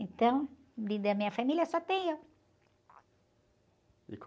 Então, de, da minha família só tem eu.